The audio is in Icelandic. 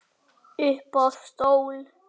Upp á stól